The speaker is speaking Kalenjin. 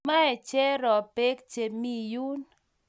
Mae Cherop pek che mi yun.